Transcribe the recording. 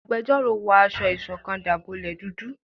Àgbẹjọró wọ aṣọ ìṣọ̀kan dábọlẹ dúdú